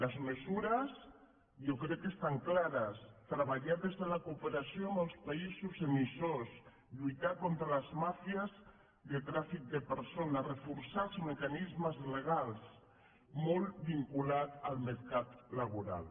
les mesures jo crec que estan clares treballar des de la cooperació amb els paï·sos emissors lluitar contra les màfies de tràfic de per·sones reforçar els mecanismes legals molt vinculat al mercat laboral